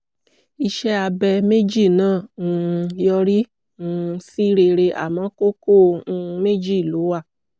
iṣẹ́ abẹ méjì náà um yọrí um sí rere àmọ́ kókó um méjì ló wà